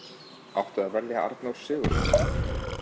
Átti að velja Arnór Sigurðsson?